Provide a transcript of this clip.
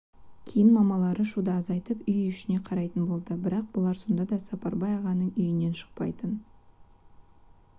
кейін мамалары шуды азайтып үй ішіне қарайтын болды бірақ бұлар сонда да сапарбай ағаның үйінен шықпайтын